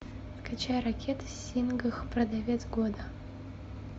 скачай рокет сингх продавец года